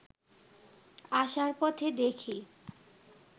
আসার পথে দেখি